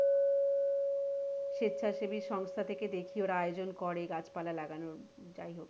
স্বেচ্ছাসেবী সংস্থা থেকে দেখি ওরা আয়োজন করে গাছ পালা লাগানোর যাইহোক,